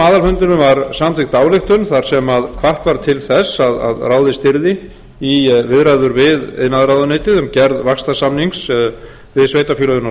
aðalfundinum var samþykkt ályktun þar sem hvatt var til þess að ráðist yrði í viðræður við iðnaðarráðuneytið um gerð vaxtarsamnings við sveitarfélögin á